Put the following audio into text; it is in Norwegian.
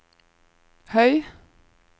høy